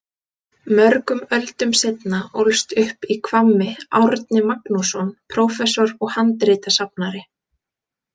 Mörgum öldum seinna ólst upp í Hvammi Árni Magnússon prófessor og handritasafnari.